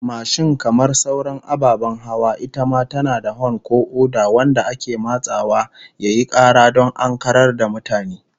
Mashin kamar sauran ababen hawa, ita ma tana da hon ko oda wanda ake matsawa yayi kara don ankarar da mutane